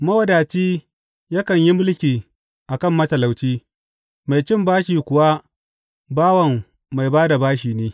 Mawadaci yakan yi mulki a kan matalauci, mai cin bashi kuwa bawan mai ba da bashi ne.